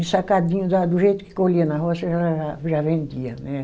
Ensacadinho, lá do jeito que colhia na roça, já já, já vendia, né?